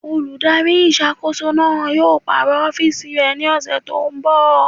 Olùdarí ìṣàkóso náà yóò pàrọ̀ ọ́fìsì rẹ̀ ní ọ̀sẹ̀ tó n bọ̀